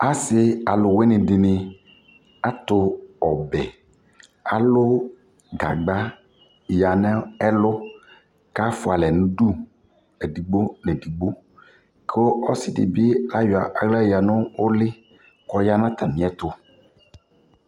Asi alʋwini dι nι atu ɔbɛalʋ gagba ya nʋ ɛlʋ kʋ afua alɛ nʋ uduedigbo nʋ edigbo kʋ ɔsidι bι ayɔ aɣla ya nʋ ole kʋ ɔya nʋ atami ɛtʋ